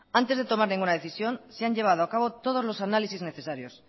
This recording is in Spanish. antes de tomar ninguna decisión se han llevado acabo todos los análisis necesarios